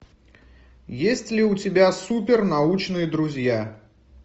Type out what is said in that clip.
есть ли у тебя супер научные друзья